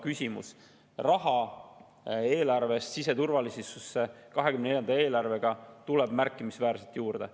2024. aasta eelarvega tuleb siseturvalisusesse raha märkimisväärselt juurde.